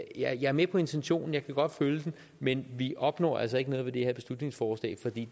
er jeg med på intentionen og jeg kan godt følge den men vi opnår altså ikke noget ved det her beslutningsforslag for det